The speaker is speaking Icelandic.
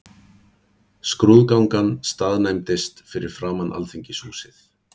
Skrúðgangan staðnæmdist fyrir framan Alþingishúsið.